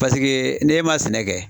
n'e ma sɛnɛ kɛ